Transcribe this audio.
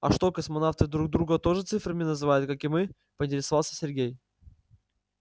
а что космонавты друг друга тоже цифрами называют как и мы поинтересовался сергей